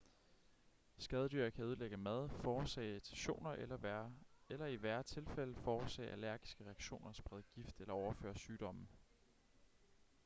skadedyr kan ødelægge mad forårsage irritationer eller i værre tilfælde forårsage allergiske reaktioner sprede gift eller overføre sygdomme